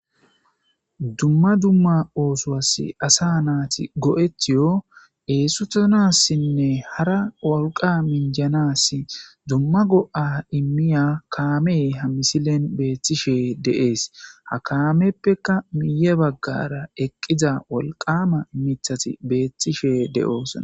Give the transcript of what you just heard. Dumma dumma oosowas asa naati go7etiyo eessutanassinne hara worqa minjanas dumma go7a immiya kaame ha misilen beeththishee deees ha kaameppekka miye baggara eqqiza wolqama mithati beeththishe de7oosa